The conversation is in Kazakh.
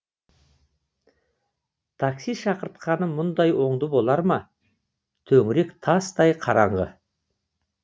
такси шақыртқаны мұндай оңды болар ма төңірек тастай қараңғы